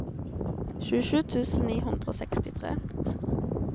tjuesju tusen ni hundre og sekstitre